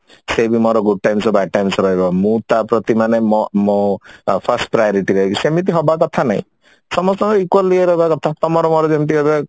ସେ ବି ମୋର good times ଆଉ bad times ରହିବ ମୁଁ ତା ପ୍ରତି ମାନେ ମୋ ମୋ first priority ରହିବି ସେମିତି ହବା କଥା ନାଇଁ ସମସ୍ତଙ୍କର equal ଇଏ ରହିବା କଥା ତମର ମୋର ଯେମତି ଏବେ